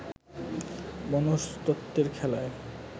মনস্তত্ত্বের খেলায়